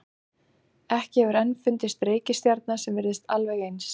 Ekki hefur enn fundist reikistjarna sem virðist alveg eins.